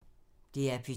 DR P2